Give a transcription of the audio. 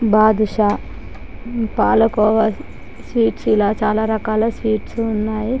Badusha palkova sweets ఇలా చాల రకాల స్వీట్స్ ఉన్నాయి .